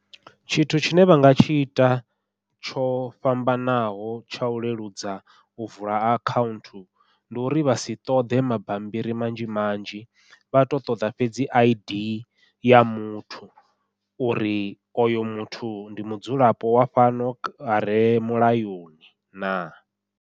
Tshithu tshine vha nga tshi ita tsho fhambanaho tsha u leludza u vula akhaunthu, ndi uri vha si ṱoḓe mabambiri manzhi manzhi vha to ṱoḓa fhedzi I_D ya muthu uri oyo muthu ndi mudzulapo wa fhano are mulayoni na.